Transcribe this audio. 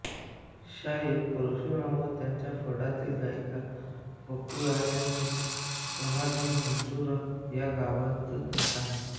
शाहीर परशुराम व त्यांच्या फडातील गायिका बकुळा यांची समाधी मंजूर या गावीच आहे